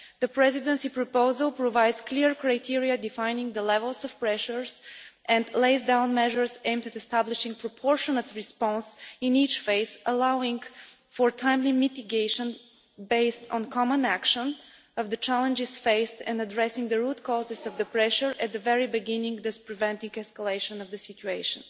The Presidency proposal provides clear criteria defining levels of pressure, and lays down measures aimed at establishing a proportionate response in each phase, allowing for timely mitigation, based on common action, of the challenges faced in addressing the root causes of the pressure at the very beginning, thus preventing escalation of the situation.